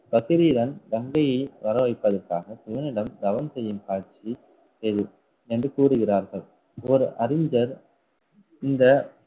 கங்கையை வர வைப்பதற்காக சிவனிடம் தவம் செய்யும் காட்சி இது என்று கூறுகிறார்கள். ஒரு அறிஞர் இந்த